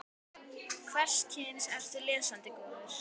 Hvers kyns ertu lesandi góður?